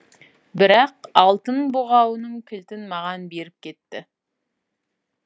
бірақ алтын бұғауының кілтін маған беріп кетті